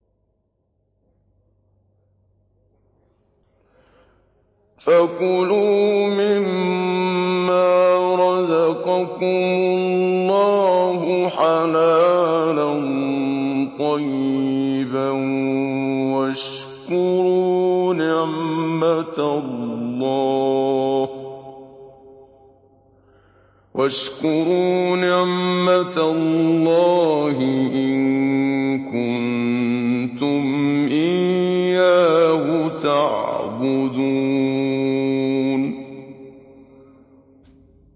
فَكُلُوا مِمَّا رَزَقَكُمُ اللَّهُ حَلَالًا طَيِّبًا وَاشْكُرُوا نِعْمَتَ اللَّهِ إِن كُنتُمْ إِيَّاهُ تَعْبُدُونَ